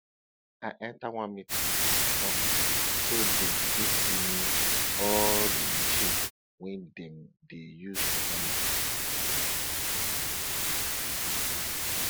i enta one meeting with farmers so dem fit give me all di machines wey dem dey use for farming